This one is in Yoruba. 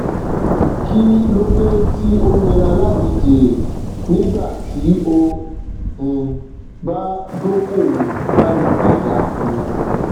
kí lódé tí ó nira láti jèrè nígbà tí o um bá dókòwòkalu aja um